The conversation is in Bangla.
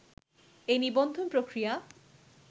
এই নিবন্ধন প্রক্রিয়া